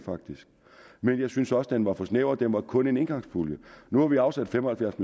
men jeg synes også den var for snæver den var kun en engangspulje nu har vi afsat fem og halvfjerds